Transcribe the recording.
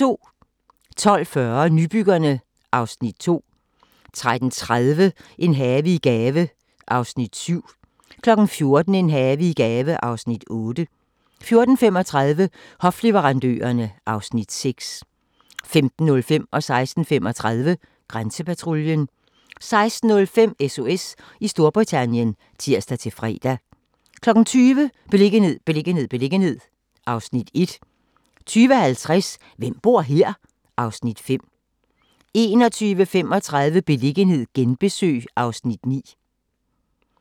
12:40: Nybyggerne (Afs. 2) 13:30: En have i gave (Afs. 7) 14:00: En have i gave (Afs. 8) 14:35: Hofleverandørerne (Afs. 6) 15:05: Grænsepatruljen 15:35: Grænsepatruljen 16:05: SOS i Storbritannien (tir-fre) 20:00: Beliggenhed, beliggenhed, beliggenhed (Afs. 1) 20:50: Hvem bor her? (Afs. 5) 21:35: Beliggenhed genbesøg (Afs. 9)